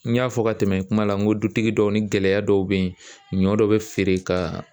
N y'a fɔ ka tɛmɛ i kuma la n ko dutigi dɔw ni gɛlɛya dɔw be yen ɲɔ dɔ be feere ka